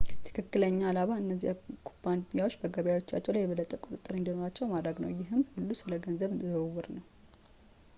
ትክክለኛው ዓላማ እነዚያ ኩባንያዎች በገበያዎቻቸው ላይ የበለጠ ቁጥጥር እንዲኖራቸው ማድረግ ነው ይህ ሁሉ ስለ ገንዘብ ዝውውር ነው